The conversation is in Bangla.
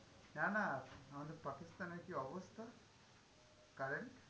না না, আমাদের পাকিস্তানের কি অবস্থা? current?